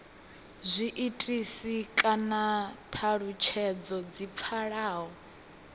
zwiitisi kana thalutshedzo dzi pfalaho